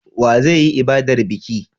Wa zai yi ibadar biki?